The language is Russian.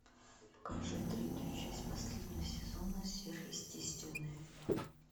покажи третью часть последнего сезона сверхъестественное